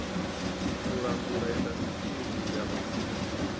u langula indasiṱiri ya mafulufulu